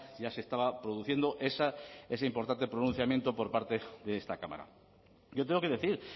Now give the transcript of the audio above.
ya se estaba produciendo ese importante pronunciamiento por parte de esta cámara yo tengo que decir